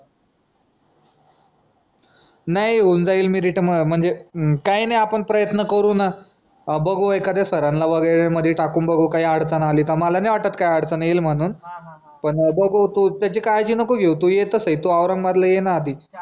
नाही होऊन जाईल मेरिट म्हणजे काय नाही आपण प्रयत्न करू ना बघू एखाद्या सरांना मध्ये टाकून बघू काही अडचण आली का मला नाही वाटत काही अडचण येईल म्हणून पण बघू तू त्याची काळजी नको घेऊ तू येत सई तू औरंगाबादला येना आधी